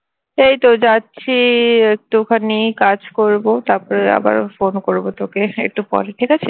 এই তো যাচ্ছি একটুখানি কাজ করবো তারপর আবার phone করবো তোকে একটু পরে ঠিক আছে